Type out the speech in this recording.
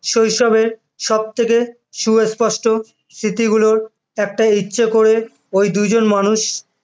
শৈশবের সবথেকে সুস্পষ্ট স্মৃতিগুলোর রক্ত হচ্ছে ওই দুজন মানুষ